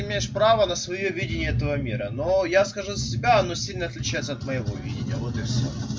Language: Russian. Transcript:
имеешь право на своё видение этого мира но я скажу за себя оно сильно отличается от моего видения вот и все